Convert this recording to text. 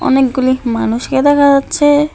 অনেকগুলি মানুষকে দেখা যাচ্ছে।